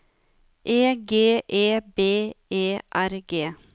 E G E B E R G